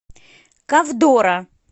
ковдора